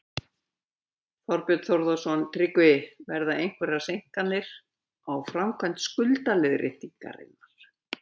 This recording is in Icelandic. Þorbjörn Þórðarson: Tryggvi, verða einhverjar seinkanir á framkvæmd skuldaleiðréttingarinnar?